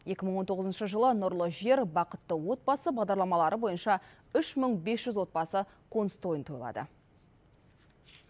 екі мың он тоғызыншы жылы нұрлы жер бақытты отбасы бағдарламалары бойынша үш мың бес жүз отбасы қоныс тойын тойлады